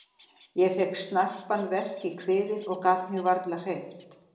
Ég fékk snarpan verk í kviðinn og gat mig varla hreyft.